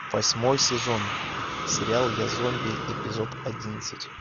восьмой сезон сериал я зомби эпизод одиннадцать